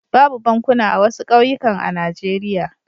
Babu bankuna a wasu ƙauyukan a Najeriya.